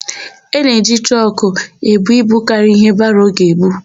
A na-eji trọkụ ebu ibu karịrị íhé baro ga-ebu.